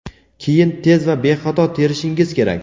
keyin tez va bexato terishingiz kerak.